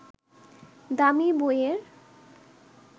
দামি বইয়ের